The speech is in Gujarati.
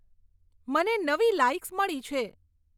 મને નવી લાઈક્સ મળી છે